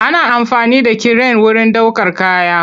Ana amfani da kiren wurin ɗaukar kaya.